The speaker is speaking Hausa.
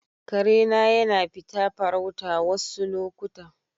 Kare na yana fita farauta wassu lokuta.